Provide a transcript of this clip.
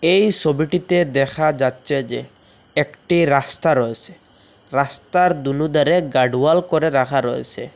এই সবিটিতে দেখা যাচ্চে যে একটি রাস্তা রয়েসে রাস্তার দুলুদারে গার্ড ওয়াল করে রাখা রয়েসে।